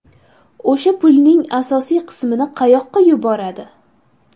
O‘sha pulning asosiy qismini qayoqqa yuboradi?